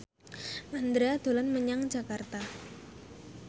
Mandra dolan menyang Jakarta